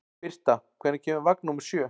Birta, hvenær kemur vagn númer sjö?